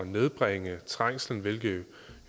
nedbringe trængslen hvilket